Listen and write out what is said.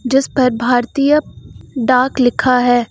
जिस पर भारतीय डाक लिखा है।